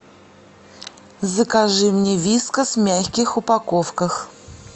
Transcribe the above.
закажи мне вискас в мягких упаковках